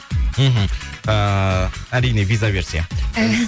мхм ыыы әрине виза берсе